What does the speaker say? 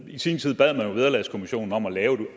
i sin tid bad man jo vederlagskommissionen om